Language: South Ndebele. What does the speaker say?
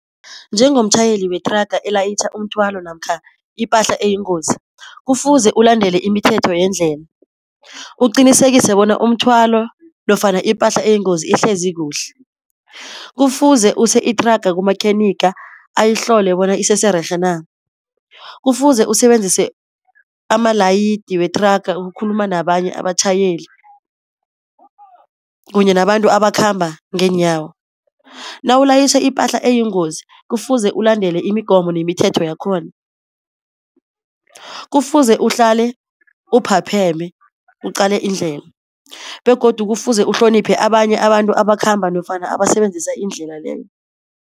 Njengomtjhayeli wethraga elayitjha umthwalo namkha ipahla eyingozi kufuze ulandele imithetho yendlela. Uqinisekise bona umthwalo nofana ipahla eyingozi ihlezi kuhle. Kufuze use-ithraga kumakhenikha ayihlole bona isese rerhe na. Kufuze usebenzise amalayidi wethraga ukukhuluma nabanye abatjhayeli kunye nabantu abakhamba ngeenyawo. Nawulayitjha ipahla eyingozi kufuze ulandele imigomo nemithetho yakhona. Kufuze uhlale uphapheme uqale indlela, begodu kufuze uhloniphe abanye abantu abakhamba nofana abasebenzisa indlela leyo.